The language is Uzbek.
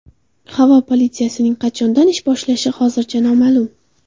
Havo politsiyasining qachondan ish boshlashi hozircha noma’lum.